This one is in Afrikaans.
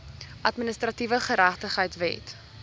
administratiewe geregtigheid wet